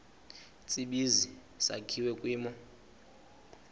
tsibizi sakhiwa kwimo